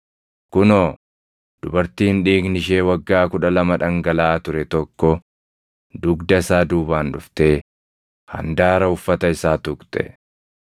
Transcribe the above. Kunoo, dubartiin dhiigni ishee waggaa kudha lama dhangalaʼaa ture tokko dugda isaa duubaan dhuftee handaara uffata isaa tuqxe.